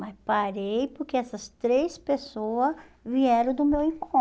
Mas parei porque essas três pessoas vieram do meu